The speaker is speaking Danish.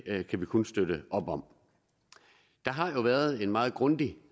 kan vi kun støtte op om der har jo været en meget grundig